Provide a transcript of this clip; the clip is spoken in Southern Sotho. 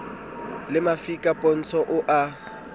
le mafika pontsho o a